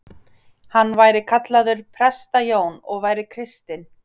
Hann væri kallaður Presta-Jón og væri kristinn.